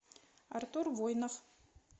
артур воинов